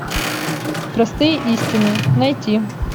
простые истины найти